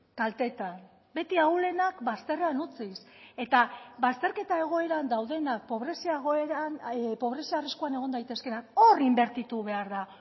kaltetan beti ahulenak bazterrean utziz eta bazterketa egoeran daudenak pobrezia egoeran pobrezia arriskuan egon daitezkeenak hor inbertitu behar da